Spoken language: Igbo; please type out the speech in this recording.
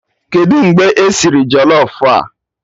Kedụ mgbe esiri jọlọf a?